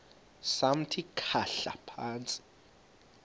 samthi khahla phantsi